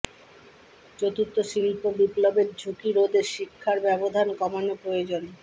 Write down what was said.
চতুর্থ শিল্প বিপ্লবের ঝুঁকি রোধে শিক্ষার ব্যবধান কমানো প্রয়োজন